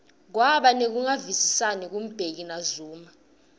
kwaba nekungavisisani ku mbeki na zuma